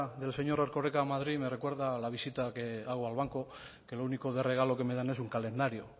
del señor erkorekaa a madrid me recuerda a la visita que hago al banco que lo único de regalo que me dan es un calendario